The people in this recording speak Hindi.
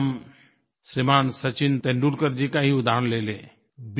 अगर हम श्रीमान सचिन तेंदुलकर जी का ही उदहारण ले लें